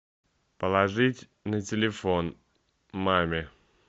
положить на телефон маме